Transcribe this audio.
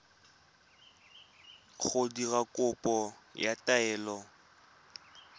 go dira kopo ya taelo